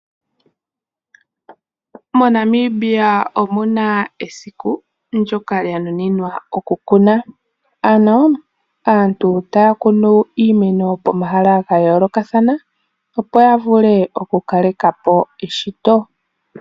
MoNamibia omuna esiku lyoka lya nuninwa oku kunwa. Ano aantu taa kunu iimeno pomahala gayoolokathana opo yavule oku kalekapo eshito .